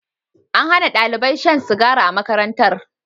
An Hana ɗalibai shan sigari a makarantar